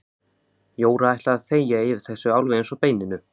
Jóra ætlaði að þegja yfir þessu alveg eins og beininu.